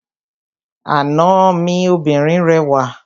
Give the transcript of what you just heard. Àna mi obìnrin rẹwà.